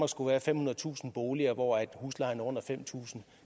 skulle være femhundredetusind boliger hvor huslejen er under fem tusind